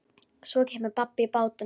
Svo kemur babb í bátinn.